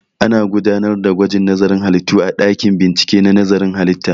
Ana gudanar da gwajin nazarin halittu a ɗakin bincike na nazarin halitta